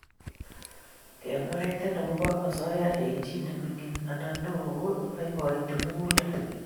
Kemwaiten akobo asoya eng' chii nemining' anan neo ko ibaibaiti mugulel